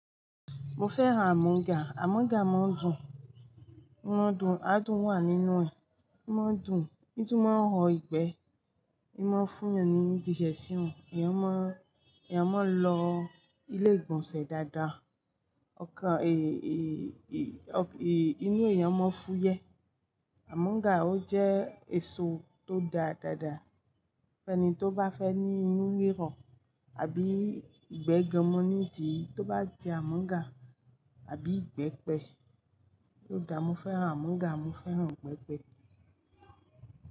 Mo fẹ́ràn àmúga. Àmúga máa ń dùn, adùn wà nínú ẹ̀. Í máa ń dùn, etùmo máa ń o ìgbẹ́, imú ń fún ni ní jíṣẹ́ sí òun. Ẹ̀yàn má, ẹ̀yàn máa lọ ilé ìgbọ̀nsẹ̀ dáadáa. Inú èèyàn máa ń fúyẹ́. Àmúga, ó jẹ́ èso tó dáa. Ẹni tó bá fẹ́ ní inú e o àbí ìgbẹ́ gan mọ́ nídi, tó bá jẹ àmúga àbí ìgbẹ́pẹ, yóò dà mo. Mo fẹ́ràn àmúga, mo fẹ́ràn ìgbẹ́pẹ.